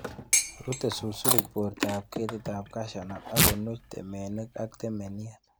Rute susurik bortab ketitab cashew nut ok konuch temenik ak temeniet.